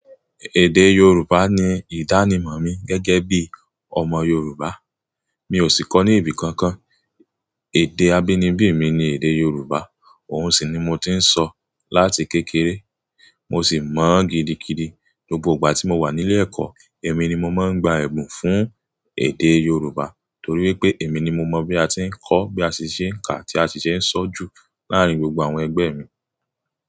Èdè Yorùbá ni ìdánimọ̀ mi gẹ́gẹ́ bí ọmọ Yorùbá. Mi ò sì kọ́ ní ibi kankan. Èdè abínibí mi ni èdè Yorùbá, òun sì ni mo ti ń sọ láti kékeré. Mo sì mọ̀ ó gidigidi. Gbogbo ìgbà gbà tí mo wà nílé ẹ̀kọ́, èmi ni mo máa ń gba ẹ̀bùn fún èdè Yorùbá torí wípé èmi ni mo mọ̀ bí a ti ń kọ́, bí a ti ń ṣe ń kà, tí a ti ṣe ń sọ ju láàárín gbogbo àwọn ẹgbẹ́ mi.